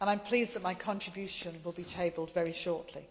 and I am pleased that my contribution will be tabled very shortly.